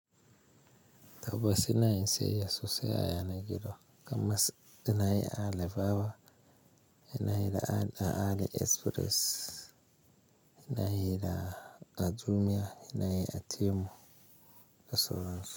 Tabbas ina yin siyayya sosai a yanar gizo kamar ina yi a Alibaba, ina yi da AliExpress, ina yi da Jumia, ina yi a Temu da sauran su.